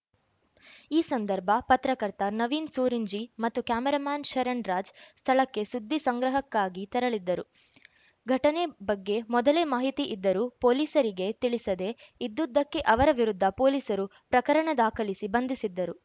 ಈ ಸಂದರ್ಭ ಪತ್ರಕರ್ತ ನವೀನ್‌ ಸೂರಿಂಜೆ ಮತ್ತು ಕ್ಯಾಮೆರಾಮನ್‌ ಶರಣ್‌ರಾಜ್‌ ಸ್ಥಳಕ್ಕೆ ಸುದ್ದಿ ಸಂಗ್ರಹಕ್ಕಾಗಿ ತೆರಳಿದ್ದರು ಘಟನೆ ಬಗ್ಗೆ ಮೊದಲೇ ಮಾಹಿತಿ ಇದ್ದರೂ ಪೊಲೀಸರಿಗೆ ತಿಳಿಸದೆ ಇದ್ದುದಕ್ಕೆ ಅವರ ವಿರುದ್ಧ ಪೊಲೀಸರು ಪ್ರಕರಣ ದಾಖಲಿಸಿ ಬಂಧಿಸಿದ್ದರು